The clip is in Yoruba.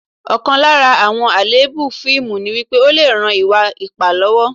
Ọ̀kan lára àwọn àléébù fíìmù ni wípé, ó lè ran ìwà ipá lọ́wọ́